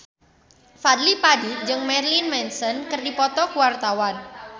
Fadly Padi jeung Marilyn Manson keur dipoto ku wartawan